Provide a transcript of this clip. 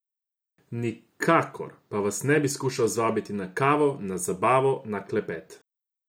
Nikakor pa vas ne bi skušal zvabiti na kavo, na zabavo, na klepet.